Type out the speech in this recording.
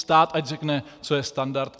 Stát ať řekne, co je standard.